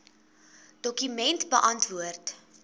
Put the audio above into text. dokument beantwoord